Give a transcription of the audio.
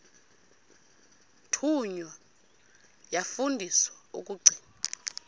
thunywa yafundiswa ukugcina